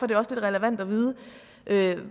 det også relevant at vide